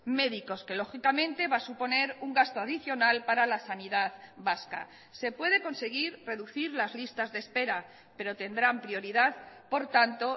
médicos que lógicamente va a suponer un gasto adicional para la sanidad vasca se puede conseguir reducir las listas de espera pero tendrán prioridad por tanto